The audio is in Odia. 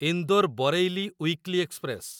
Indore Bareilly weekly express